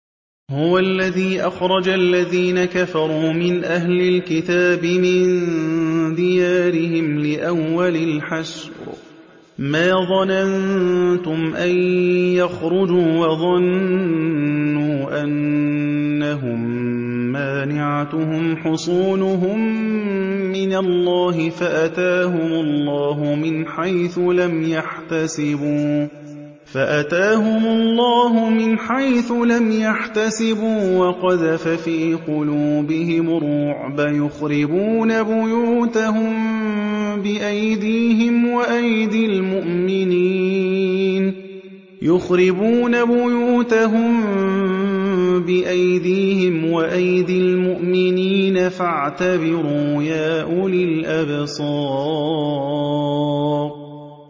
هُوَ الَّذِي أَخْرَجَ الَّذِينَ كَفَرُوا مِنْ أَهْلِ الْكِتَابِ مِن دِيَارِهِمْ لِأَوَّلِ الْحَشْرِ ۚ مَا ظَنَنتُمْ أَن يَخْرُجُوا ۖ وَظَنُّوا أَنَّهُم مَّانِعَتُهُمْ حُصُونُهُم مِّنَ اللَّهِ فَأَتَاهُمُ اللَّهُ مِنْ حَيْثُ لَمْ يَحْتَسِبُوا ۖ وَقَذَفَ فِي قُلُوبِهِمُ الرُّعْبَ ۚ يُخْرِبُونَ بُيُوتَهُم بِأَيْدِيهِمْ وَأَيْدِي الْمُؤْمِنِينَ فَاعْتَبِرُوا يَا أُولِي الْأَبْصَارِ